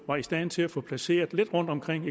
var i stand til at få placeret rundtomkring